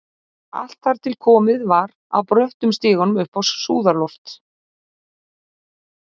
Allt þar til komið var að bröttum stiganum upp á súðarloft.